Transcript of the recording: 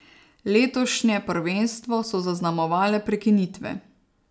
Letošnje prvenstvo so zaznamovale prekinitve.